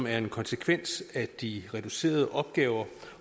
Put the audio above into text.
er en konsekvens af de reducerede opgaver